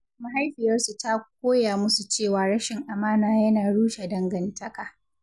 Mahaifiyarsu ta koya musu cewa rashin amana yana rushe dangantaka.